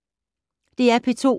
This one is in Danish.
DR P2